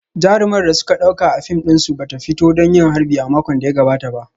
Jarumar da suka dauka a fim dinsu ba ta fito don yin harbi a makon da ya gabata ba